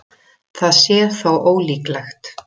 Það sé þó ólíklegt